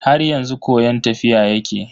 Har yanzu koyon tafiya yake.